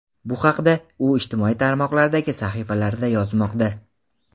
Bu haqda u ijtimoiy tarmoqlardagi sahifalarida yozmoqda.